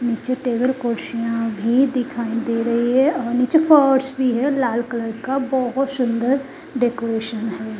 नीचे टेबल कुर्सियां भी दिखाई दे रही हैं और नीचे फर्श भी हैं लाल कलर का बहुत सुंदर डेकोरेशन हैं ।